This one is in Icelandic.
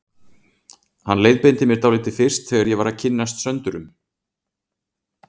Hann leiðbeindi mér dálítið fyrst þegar ég var að kynnast Söndurum.